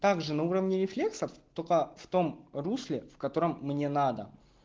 также на уровне рефлексов только в том русле в котором мне надо